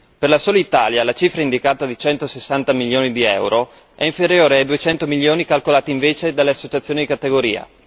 Per la sola Italia, la cifra indicata di centosessanta milioni di euro è inferiore ai duecento milioni calcolati invece dalle associazioni di categoria.